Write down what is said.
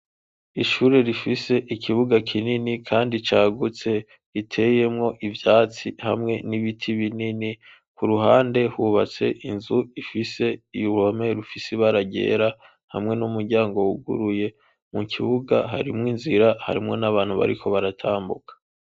Ishure rifise ikibuga kinini kandi cagutse, riteyemwo ivyatsi hamwe n'ibiti binini, ku ruhande hubatse inzu ifise uruhome rufise ibara ryera hamwe n'umuryango wuguruye, mu kibuga harimwo inzira, harimwo n'abantu bariko baratambuka.